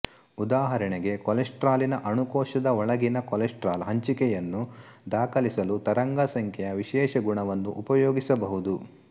ಉದಾಹರಣೆಗೆ ಕೊಲೆಸ್ಟ್ರಾಲಿನ ಅಣುಕೋಶದ ಒಳಗಿನ ಕೊಲೆಸ್ಟ್ರಾಲ್ ಹಂಚಿಕೆಯನ್ನು ದಾಖಲಿಸಲು ತರಂಗಸಂಖ್ಯೆಯ ವಿಶೇಷಗುಣವನ್ನು ಉಪಯೋಗಿಸಬಹುದು